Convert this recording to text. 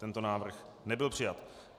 Tento návrh nebyl přijat.